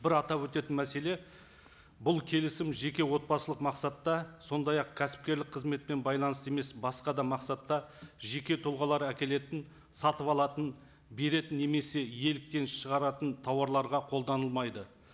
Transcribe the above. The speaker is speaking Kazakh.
бір атап өтетін мәселе бұл келісім жеке отбасылық мақсатта сондай ақ кәсіпкерлік қызметпен байланысты емес басқа да мақсатта жеке тұлғалар әкелетін сатып алатын беретін немесе иеліктен шығаратын тауарларға қолданылмайды